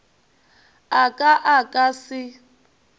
a ka a ka se